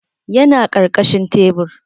Yana karkashin tebur